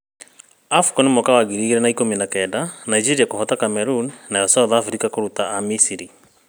Afcon 2019: Nigeria kũhota Cameroon nayo South Africa kũruta a-Misiri